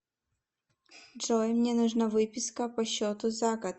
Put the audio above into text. джой мне нужна выписка по счету за год